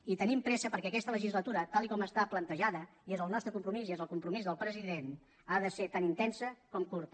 i tenim pressa perquè aquesta legislatura tal com està plantejada i és el nostre compromís i és el compromís del president ha de ser tan intensa com curta